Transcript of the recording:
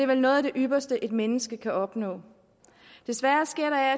vel noget af det ypperste et menneske kan opnå desværre sker der af